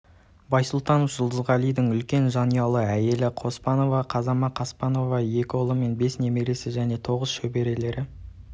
байсултанов жұлдызғалидың үлкен жанұялы әйелі қаспанова казама қаспановна екі ұлы мен бес немересі және тоғыз шөберелері